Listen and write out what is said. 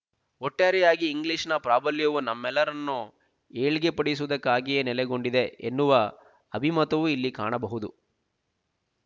ಒಟ್ಟಾರೆಯಾಗಿ ಇಂಗ್ಲೀಷನ ಪ್ರಾಬಲ್ಯವು ನಮ್ಮೆಲ್ಲರನ್ನು ಏಳ್ಗೆಪಡಿಸುವುದಕ್ಕಾಗಿಯೇ ನೆಲೆಗೊಂಡಿದೆ ಎನ್ನುವ ಅಭಿಮತವು ಇಲ್ಲಿ ಕಾಣಬಹುದು